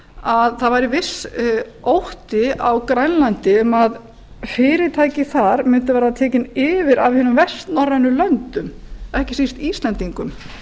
að það væri viss ótti á grænlandi um að fyrirtæki þar mundu verða tekin yfir af hinum vestnorrænu löndum ekki síst íslendingum